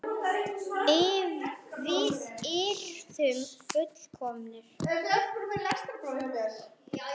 Við yrðum full- komnir.